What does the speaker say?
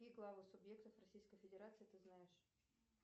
какие главы субъектов российской федерации ты знаешь